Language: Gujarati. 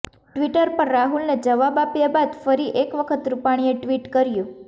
ટ્વિટર પર રાહુલને જવાબ આપ્યા બાદ ફરી એક વખત રૂપાણીએ ટ્વીટ કર્યું